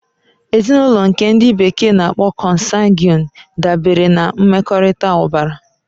Ezinụlọ nke ndi bekee n'akpo consanguine dabere na mmekọrịta ọbara.